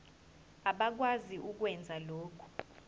abakwazi ukwenza lokhu